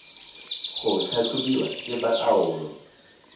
go tlhatlhobiwa ke ba taolo